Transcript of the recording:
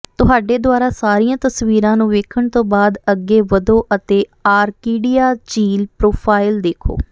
ਤੁਹਾਡੇ ਦੁਆਰਾ ਸਾਰੀਆਂ ਤਸਵੀਰਾਂ ਨੂੰ ਵੇਖਣ ਤੋਂ ਬਾਅਦ ਅੱਗੇ ਵਧੋ ਅਤੇ ਆਰਕੀਡਿਆ ਝੀਲ ਪਰੋਫਾਈਲ ਦੇਖੋ